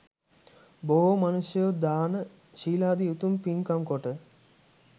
බොහෝ මනුෂ්‍යයෝ දාන, ශීලාදී උතුම් පින්කම් කොට